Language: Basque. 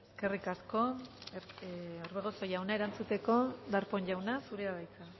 eskerrik asko orbegozo jauna erantzuteko darpón jauna zurea da hitza